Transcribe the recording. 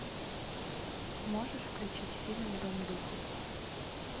можешь включить фильм дом духов